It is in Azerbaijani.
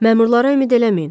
Məmurlara ümid eləməyin.